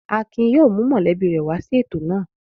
Akin yóò mú mọ̀lẹ́bí rẹ̀ wá sí ètò náà.